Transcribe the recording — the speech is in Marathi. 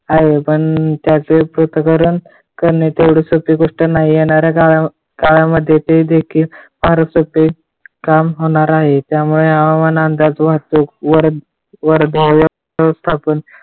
आहे पण त्याचे पृथक्करण करणे तेवढे सोपे गोष्ट नाही. काळामध्ये ते देखील काम सोप्प होणार आहे. त्यामुळे हवामान अंदाज वाहतूक संस्थापन